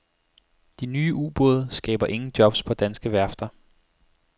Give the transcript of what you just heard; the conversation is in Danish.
De nye ubåde skaber ingen jobs på danske værfter.